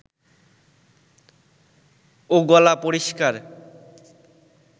ও গলা পরিষ্কার